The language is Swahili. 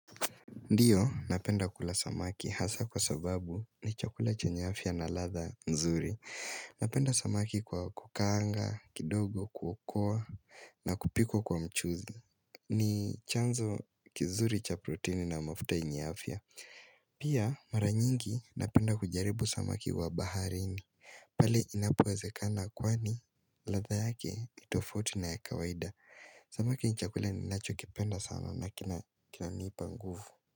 Ndiyo, napenda kula samaki hasa kwa sababu ni chakula chenye afya na latha nzuri. Napenda samaki kwa kukaanga, kidogo, kuokoa, na kupikwa kwa mchuzi. Ni chanzo kizuri cha proteini na mafuta yenye afya. Pia, maranyingi napenda kujaribu samaki wa baharini. Pali inapowezekana kwani latha yake nitofauti na ya kawaida. Sama ki ni chakulia ni nacho kipenda sana na kina ni panguvu.